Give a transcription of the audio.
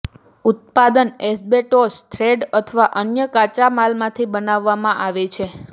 ઉત્પાદન asbestos thread અથવા અન્ય કાચા માલમાંથી બનાવવામાં આવે છે